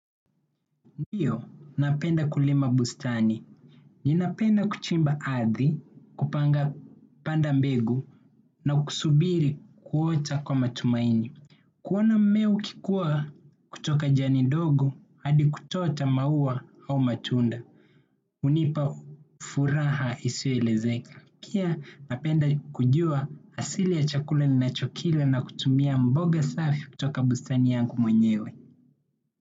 Ndio napenda kulima bustani. Ninapenda kuchimba ardhi, kupanga panda mbegu, na kusubiri kuota kwa matumaini. Kuona mmea ukikua kutoka jani ndogo, hadi kutoa hata maua au matunda. Hunipa furaha isiyoelezeka. Pia napenda kujua asili ya chakula ninachokila na kutumia mboga safi kutoka bustani yangu mwenyewe.